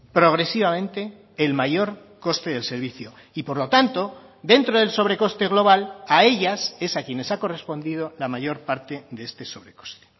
progresivamente el mayor coste del servicio y por lo tanto dentro del sobrecoste global a ellas es a quienes ha correspondido la mayor parte de este sobrecoste